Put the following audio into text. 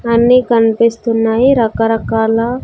అన్నీ కన్పిస్తున్నాయి రకరకాల--